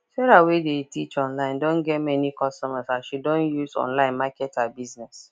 sarah wey dey teach online don get many customers as she don use online market her business